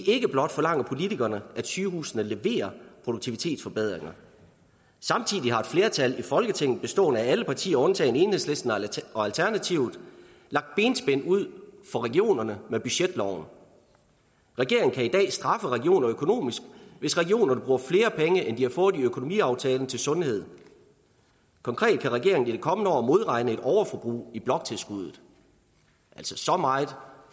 ikke blot forlanger politikerne at sygehusene leverer produktivitetsforbedringer samtidig har et flertal i folketinget bestående af alle partier undtagen enhedslisten og alternativet lagt benspænd ud for regionerne med budgetloven regeringen kan i dag straffe regioner økonomisk hvis regionerne bruger flere penge end de har fået i økonomiaftalen til sundhed konkret kan regeringen i det kommende år modregne et overforbrug i bloktilskuddet så meget